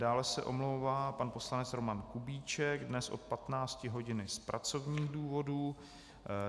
Dále se omlouvá pan poslanec Roman Kubíček dnes od 15 hodin z pracovních důvodů.